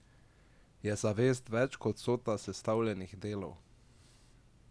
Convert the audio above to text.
Je zavest več kot vsota sestavnih delov?